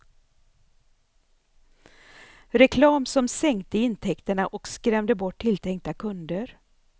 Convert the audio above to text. Reklam som sänkte intäkterna och skrämde bort tilltänkta kunder.